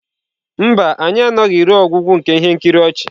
Mba, anyị anọghị ruo ọgwụgwụ nke ihe nkiri ọchị.